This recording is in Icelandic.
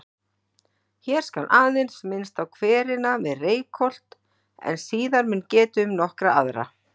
Hér skal aðeins minnst á hverina við Reykholt en síðar mun getið um nokkra aðra.